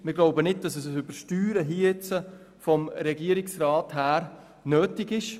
Wir glauben nicht, dass hier ein Übersteuern durch den Regierungsrat notwendig ist.